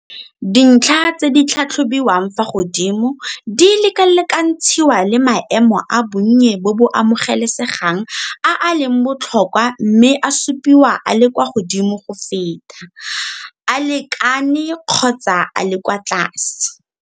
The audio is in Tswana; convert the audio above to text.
Dintlha tse di tlhatlhobiwang fa godimo di lekalekantshiwa le maemo a bonnye bo bo amogelesegang a a leng botlhokwa mme a supiwa a le kwa godimo go feta, a lekane kgotsa a le kwa tlase.